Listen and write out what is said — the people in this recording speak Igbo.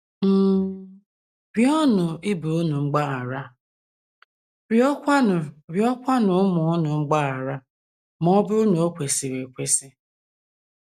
um Rịọnụ ibe unu mgbaghara rịọkwanụ rịọkwanụ ụmụ unu mgbaghara, ma ọ bụrụ na o kwesịrị ekwesị.